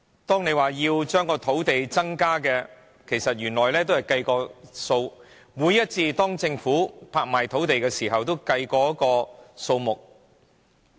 政府說要增加土地供應，其實原來已經計算好，政府每一次拍賣土地前都已計好數。